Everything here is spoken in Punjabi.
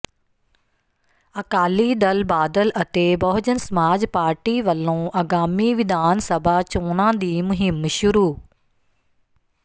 ਅਕਾਲੀ ਦਲ ਬਾਦਲ ਅਤੇ ਬਹੁਜਨ ਸਮਾਜ ਪਾਰਟੀ ਵੱਲੋਂ ਅਗਾਮੀ ਵਿਧਾਨ ਸਭਾ ਚੋਣਾਂ ਦੀ ਮੁਹਿੰਮ ਸ਼ੁਰੂ